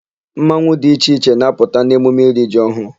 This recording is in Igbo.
Mmanwụ dị iche iche na-apụta n'emume iri ji ọhụụ.